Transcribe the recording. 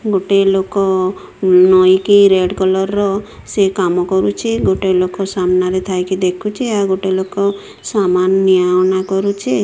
ଗୋଟେ ଲୋକ ନଇକି ରେଡ୍ କଲର୍ ର ସେ କାମ କରୁଚି ଗୋଟେ ଲୋକ ସାମାନ ରେ ଦେଇକି ଦେଖୁଚି ଆଉ ଗୋଟେ ଲୋକ ସମାନ୍ ନିଆ ଆଣିବା କରୁଚି।